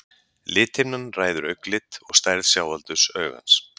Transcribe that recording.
lithimnan ræður augnlit og stærð sjáaldurs augans